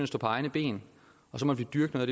stå på egne ben og så må vi dyrke noget